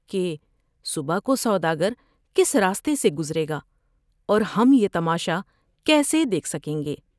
کہ صبح کوسودا گرکس راستے سے گزرے گا اور ہم یہ تماشا کیسے دیکھ سکیں گے ۔